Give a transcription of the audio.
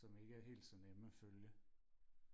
som ikke er helt så nemme og følge